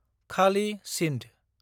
खालि सिन्द